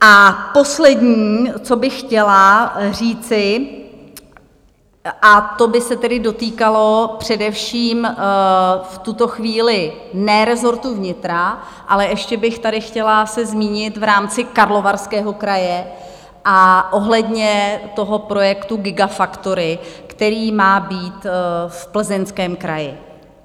A poslední, co bych chtěla říci, a to by se tedy dotýkalo především v tuto chvíli ne rezortu vnitra, ale ještě bych tady chtěla se zmínit v rámci Karlovarského kraje a ohledně toho projektu gigafactory, který má být v Plzeňském kraji.